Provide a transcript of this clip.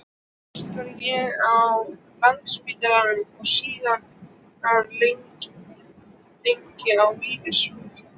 Fyrst var ég á Landspítalanum og síðan lengi á Vífilsstöðum.